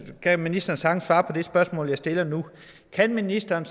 kan ministeren sagtens svare på det spørgsmål jeg stiller nu kan ministeren